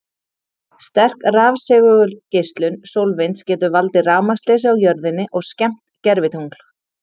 Sterk rafsegulgeislun sólvinds getur valdið rafmagnsleysi á jörðinni og skemmt gervitungl.